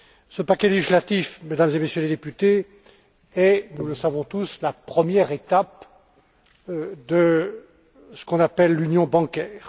Ce paquet législatif, Mesdames et Messieurs les députés, est, nous le savons tous, la première étape de ce qu'on appelle l'union bancaire.